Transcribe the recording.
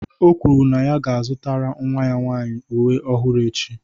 O kwuru na ya ga-azụtara nwa ya nwaanyị uwe ọhụrụ echi.